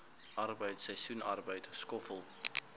arbeid seisoensarbeid skoffel